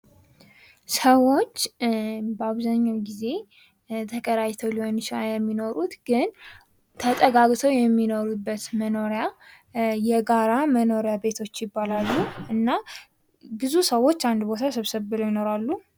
ሰዎች በአብዛኛዉ ጊዜ ተከራይተዉ ሊሆን ይችላል የሚኖሩት፤ ግን ተጠጋግተዉ የሚኖሩበት ቦታ የጋራ መኖሪያ ቤት ይባላል። ብዙ ጊዜ ተጠጋግተዉ ነዉ የሚኖሩት።